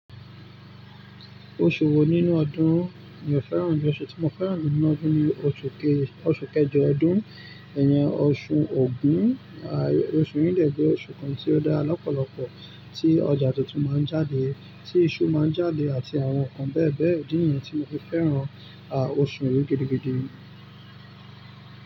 Oṣù wo nínú ọdún ni o fẹ́ràn jù? Oṣù tí mo fẹ́ràn jù ní ọdún ni oṣù kejọ ọdún, ẹyin ọṣù Ògún. Oṣù yìí dẹ̀ gbé oṣù kan tí ó dára lọ́pọ̀lọpọ̀, tí ọjà tuntun máa ń jáde, tí iṣu máa ń jáde àti àwọn nǹkan bẹ́ẹ̀bẹ́ẹ̀d. Ìdí níyẹn ti mo fi fẹ́ràn, à oṣù yìí gidigidi.